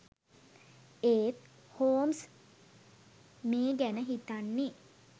ඒත් හෝම්ස් මේ ගැන හිතන්නේ